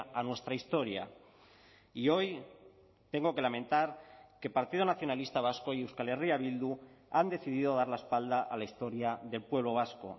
a nuestra historia y hoy tengo que lamentar que el partido nacionalista vasco y euskal herria bildu han decidido dar la espalda a la historia del pueblo vasco